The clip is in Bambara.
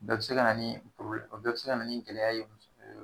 Bɛɛ bɛ se ka na ni o bɛɛ bɛ se ka na ni gɛlɛya ye muso